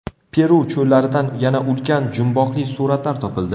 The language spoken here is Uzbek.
Peru cho‘llaridan yana ulkan jumboqli suratlar topildi.